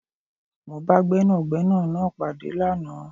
Mó bá Gbẹ́nàgbẹ́nà náà pàdé lánàá